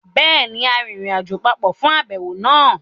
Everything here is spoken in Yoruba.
Béèni, a rìnrìnàjò papọ̀ fún àbẹ̀wò náà